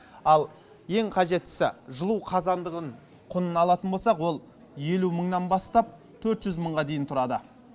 ал ең қажеттісі жылу қазандығын құнын алатын болсақ ол елу мыңнан бастап төрт жүз мыңға дейін тұрады